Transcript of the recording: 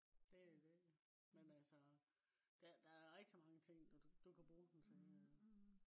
det det men altså der er rigtig mange ting du kan bruge den til øh